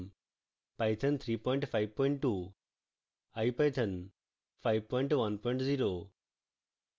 python 352 ipython 510